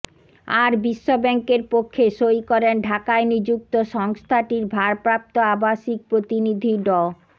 আর বিশ্বব্যাংকের পক্ষে সই করেন ঢাকায় নিযুক্ত সংস্থাটির ভারপ্রাপ্ত আবাসিক প্রতিনিধি ড